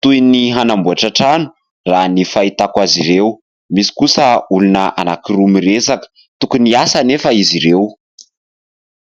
toy ny hanamboatra trano raha ny fahitako azy ireo, misy kosa olona anankiroa miresaka, tokony hiasa anefa izy ireo !